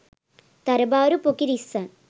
තරබාරු පොකිරිස්සන්